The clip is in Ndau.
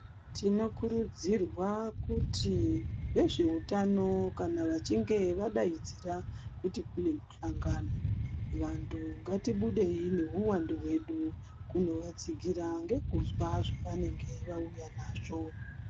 Tinokurudzirwa kuti vezveutano kana vachinge vadaidzira kuti kune muhlangano, vantu ngatibudei nehuwandu hwedu kunovatsigira ngekuzwa zvavanenge vauya nazvo.